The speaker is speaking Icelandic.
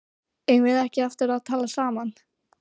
Eigum við ekki eftir að tala saman?